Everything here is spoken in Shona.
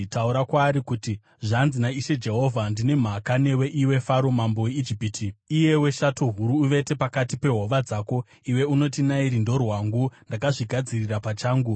Taura kwaari kuti, ‘Zvanzi naIshe Jehovha: “ ‘Ndine mhaka newe, iwe Faro mambo weIjipiti, iyewe shato huru uvete pakati pehova dzako. Iwe unoti, “Nairi ndorwangu; ndakazvigadzirira pachangu.”